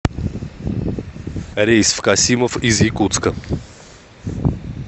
рейс в касимов из якутска